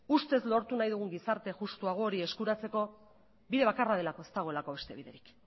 ustez lortu nahi dugun gizarte justuago hori eskuratzeko bide bakarra delako ez dagoelako beste biderik